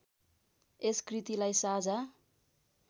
यस कृतिलाई साझा